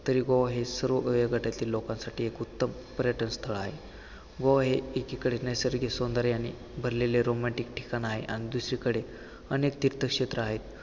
तरी गोवा हे सर्व वयोगटातील लोकांसाठी एक उत्तम पर्यटन स्थळ आहे. गोवा हे एकीकडे नैसर्गिक सौंदर्याने भरलेले romantic ठिकाण आहे आणि दुसरीकडे अनेक तीर्थ क्षेत्र आहेत.